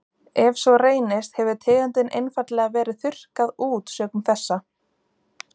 ef svo reynist hefur tegundin einfaldlega verið þurrkað út sökum þessa